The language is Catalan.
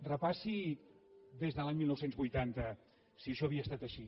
repassi des de l’any dinou vuitanta si això havia estat així